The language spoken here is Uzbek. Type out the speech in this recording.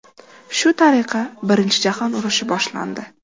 Shu tariqa Birinchi jahon urushi boshlandi.